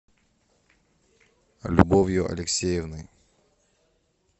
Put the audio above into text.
любовью алексеевной